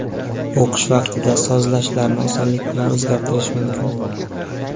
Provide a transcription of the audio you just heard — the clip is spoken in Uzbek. O‘qish vaqtida sozlashlarni osonlik bilan o‘zgartirish mumkin.